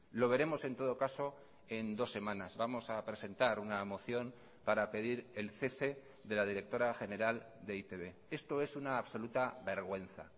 lo veremos en todo caso en dos semanas vamos a presentar una moción para pedir el cese de la directora general de e i te be esto es una absoluta vergüenza